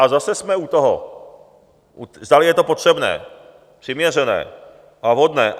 A zase jsme u toho, zdali je to potřebné, přiměřené a vhodné.